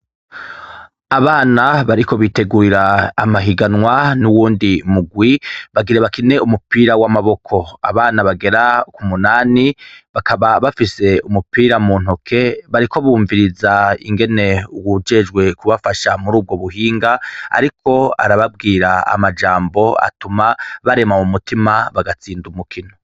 Abana bariko bitegurira amahiganwa n'uwundi murwi, bagira bakine umupira w'amaboko, abana bagera k'umunani, bakaba bafise umupira muntoke bariko bumviriza ingene uwujejwe kubafasha murubwo buhinga ariko arababwira amajambo atuma barema mu mutima bagatsinda umukino.